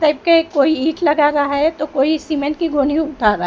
type के कोई ईंट लगा रहा है तो कोई सीमेंट की गोनी उठा रहा--